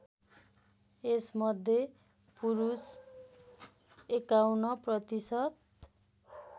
यसमध्ये पुरुष ५१ प्रतिशत